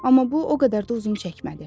Amma bu o qədər də uzun çəkmədi.